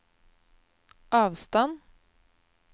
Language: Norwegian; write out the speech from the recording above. avstand